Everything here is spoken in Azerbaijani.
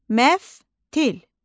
Məftil.